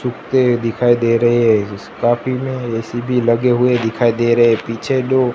कुत्ते दिखाई दे रहे हैं मैं एसी भी लगे हुवे दिखाई दे रहे हैं। पिछे लो--